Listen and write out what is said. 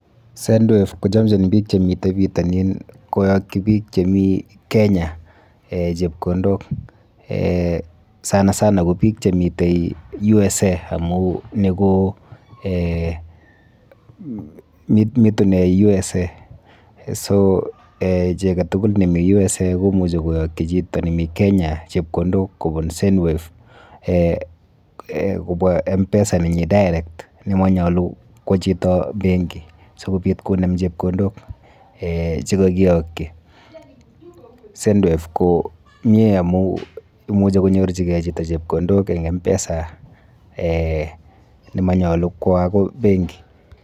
Sendwave kochomchin biik chemite pitonin koyokyi biik chemi Kenya chepkondok sana sana ko biik chemite USA amu ni ko mitune USA so eh chi aketukul nemi USA komuchi koyokchi chito nemi Kenya chepkondok kobun sendwave kobwa MPESA nenyi direct nemonyolu kwo chito penki sikopit konem chepkondok chekakiyokyi. Sendwave ko mie amu imuchi konyorchikei chito chepkondok eng MPESA ne manyolu kwo akoi benki.